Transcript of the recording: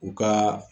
U ka